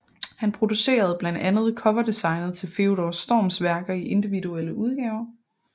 Han producerede blandt andet coverdesignet til Theodor Storms værker i individuelle udgaver